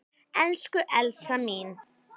Elsku Elsa mín.